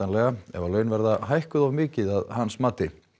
ef laun verða hækkuð of mikið að hans mati